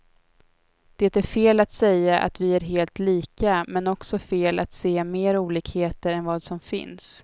Det är fel att säga att vi är helt lika, men också fel att se mer olikheter än vad som finns.